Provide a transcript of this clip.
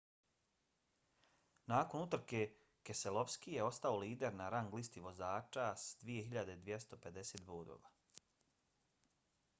nakon utrke keselowski je ostao lider na rang listi vozača s 2.250 bodova